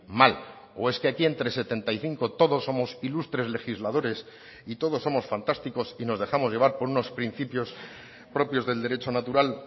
mal o es que aquí entre setenta y cinco todos somos ilustres legisladores y todos somos fantásticos y nos dejamos llevar por unos principios propios del derecho natural